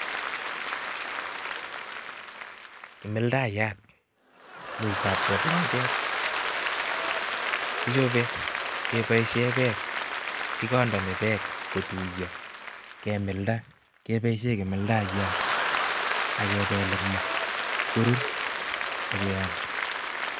Kimildayat muitab jeplanget, kichobe keboisyen bek, kigondoni bek kotuiyo, kemilda keboisyen kimildayat, akibel ing maa ibkorur, akiyam.